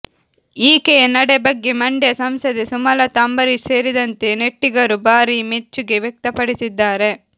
ಈಕೆಯ ನಡೆ ಬಗ್ಗೆ ಮಂಡ್ಯ ಸಂಸದೆ ಸುಮಲತಾ ಅಂಬರೀಶ್ ಸೇರಿದಂತೆ ನೆಟ್ಟಿಗರು ಭಾರೀ ಮೆಚ್ಚುಗೆ ವ್ಯಕ್ತಪಡಿಸಿದ್ದಾರೆ